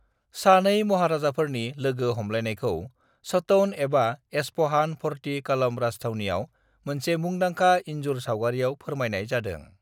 सानै महाराजाफोरनि लोगो हमलायनायखौ सोटौन एबा एस्फहान फर्टी कॉलम राजथावनियाव मोनसे मुंदांखा इनजुर-सावगारियाव फोरमायनाय जादों।